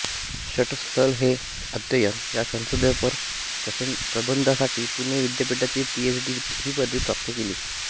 षट्स्थल एक अध्ययन या संशोधनपर प्रबंधासाठी पुणे विद्यापीठाची पीएच डी ही पदवी प्राप्त झाली